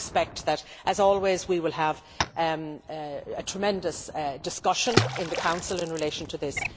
I expect that, as always, we will have a tremendous discussion in the Council in relation to this.